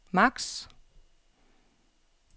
max